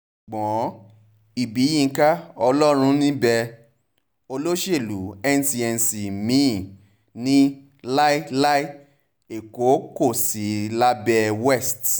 ṣùgbọ́n ibiyinka ọlọ́run-níḿbẹ̀ olóṣèlú n cnc mí-ín ní láéláé èkó kò ní í sí lábẹ́ west